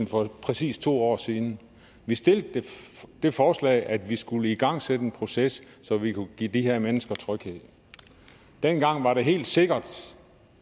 for præcis to år siden vi stillede det forslag at vi skulle igangsætte en proces så vi kunne give de her mennesker tryghed dengang var det helt sikkert